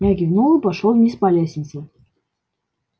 я кивнул и пошёл вниз по лестнице